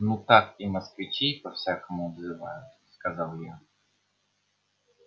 ну так и москвичей по-всякому обзывают сказал я